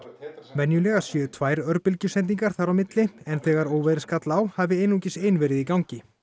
venjulega séu tvær örbylgjusendingar þar á milli en þegar óveðrið skall á hafi einungis ein verið í gangi